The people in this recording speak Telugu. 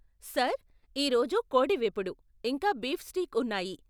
సార్, ఈ రోజు కోడి వేపుడు, ఇంకా బీఫ్ స్టీక్ ఉన్నాయి.